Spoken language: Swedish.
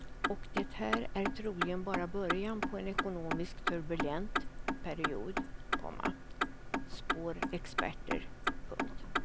Och det här är troligen bara början på en ekonomiskt turbulent period, komma spår experter. punkt